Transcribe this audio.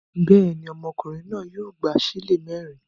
Bẹ́ẹ̀ ni, ọmọkùnrin náà yóò gba ṣílè mẹ́rin.